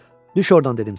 Düş ordan dedim sənə.